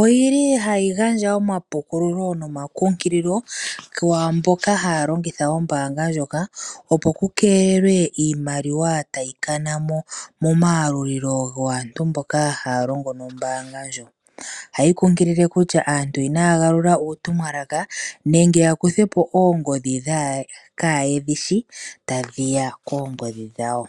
oyili hayi gandja omapukululo nomakunkililo kwaamboka haya longitha ombaanga ndjoka, opo ku keelelwe iimaliwa tayi kana momayalulilo gaantu mboka haya longo nombaanga ndjo. Ohayi kunkilile kutya aantu inaya galula uutumwalaka nenge ya kuthe po oongodhi dhawo kaa yedhi shi tadhi ya koongodhi dhawo.